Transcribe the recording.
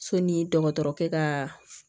So ni dɔgɔtɔrɔkɛ ka